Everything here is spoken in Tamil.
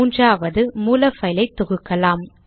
மூன்றாவது மூல பைலை தொகுக்கலாம்